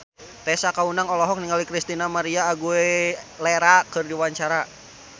Tessa Kaunang olohok ningali Christina María Aguilera keur diwawancara